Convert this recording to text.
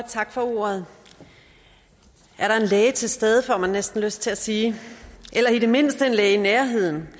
tak for ordet er der en læge til stede får man næsten lyst til at sige eller i det mindste en læge i nærheden